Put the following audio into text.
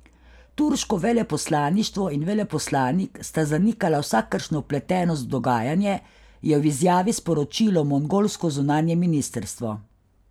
Turško veleposlaništvo in veleposlanik sta zanikala vsakršno vpletenost v dogajanje, je v izjavi sporočilo mongolsko zunanje ministrstvo.